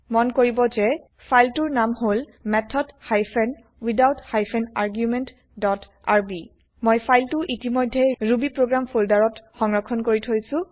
মন কৰিব যে ফাইল তোৰ নাম হল method hyphen without hyphen argument dot R B মই ফাইল টো ইতিমধ্যে ৰুবিপ্ৰগ্ৰাম ফোল্ডাৰ ত সংৰক্ষণ কৰি থৈছো